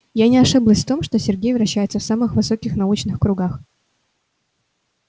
я не ошиблась в том что сергей вращается в самых высоких научных кругах